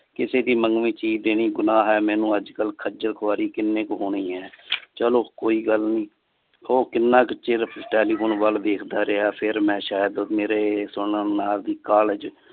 ਕਿਸੇ ਦੀ ਮੰਗਮੀ ਚੀਜ ਗੁਨਾ ਹੈ। ਮੇਨੂ ਅੱਜ ਤਕ ਖਜਲ ਖੁਆਰੀ ਕਿੰਨੀ ਕ ਹੋਣੀਆ ਏ ਚਲੋ ਕੋਈ ਗੱਲ ਨਹੀਂ ਉਹ ਕੀਨਾ ਕ ਚਿਰ telephone ਵੱਲ ਦੇਖ ਦਾ ਰਹੀਆ ਫਿਰ ਮੈ ਸ਼ਾਇਦ ਮੇਰੇ ਸੋਹੇਨਰ ਨਾਹਰ ਦੀ ਕਾਲਜ